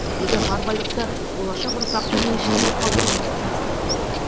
біздегі бар байлықты болашақ ұрпақтың еншісіне қалдыруымыз тиіс деді ол